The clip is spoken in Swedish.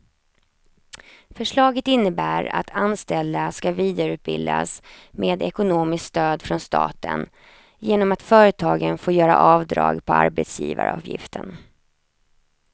Förslaget innebär att anställda ska vidareutbildas med ekonomiskt stöd från staten genom att företagen får göra avdrag på arbetsgivaravgiften.